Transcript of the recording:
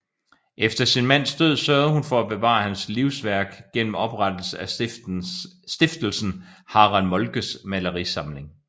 Efter sin mands død sørgede hun for at bevare hans livsværk gennem oprettelsen af stiftelsen Harald Moltkes malerisamling